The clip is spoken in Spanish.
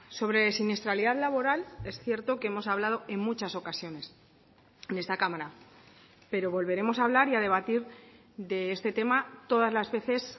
sobre siniestralidad laboral es cierto que hemos hablado en muchas ocasiones en esta cámara pero volveremos a hablar y a debatir de este tema todas las veces